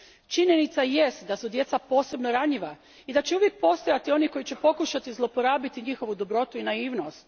Činjenica jest da su djeca posebno ranjiva i da će uvijek postojati oni koji će pokušati zlorabiti njihovu dobrotu i naivnost.